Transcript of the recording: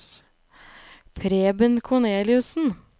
Preben Korneliussen